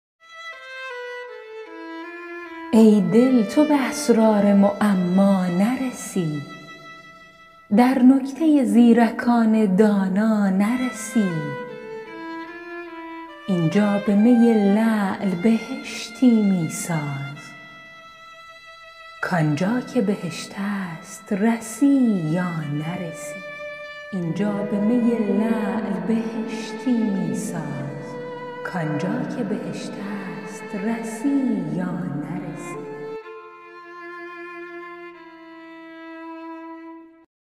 ای دل تو به اسرار معما نرسی در نکته زیرکان دانا نرسی اینجا به می لعل بهشتی می ساز کانجا که بهشت است رسی یا نرسی